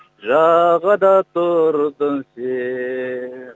жағада тұрдың сен